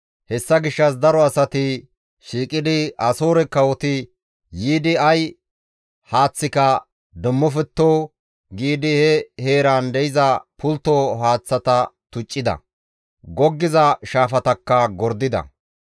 Hessa gishshas daro asati shiiqidi, «Asoore kawoti yiidi ay haaththika demmofetto» giidi he heeran de7iza pultto haaththata tuccida; goggiza shaafatakka gordida.